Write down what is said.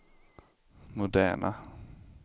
moderna